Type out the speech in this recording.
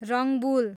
Rangbul